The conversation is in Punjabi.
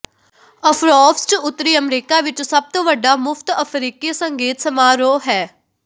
ਅਫਰੋਫਸਟ ਉੱਤਰੀ ਅਮਰੀਕਾ ਵਿੱਚ ਸਭ ਤੋਂ ਵੱਡਾ ਮੁਫਤ ਅਫਰੀਕੀ ਸੰਗੀਤ ਸਮਾਰੋਹ ਹੈ